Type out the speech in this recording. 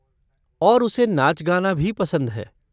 और उसे नाच गाना भी पसंद है।